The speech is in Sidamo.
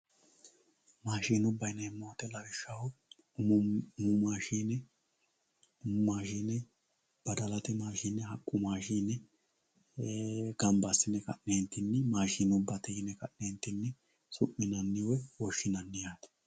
Maashinubba yineemmo woyte lawishshaho umu mine umu maashine, badalate maashine haqqu maashine gamba assine ka'nentinni maashinubbate yine su'mine woshshinanni yaate.